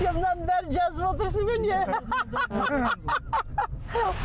сен мынаның бәрін жазып отырсың ба не